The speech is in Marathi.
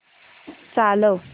चालव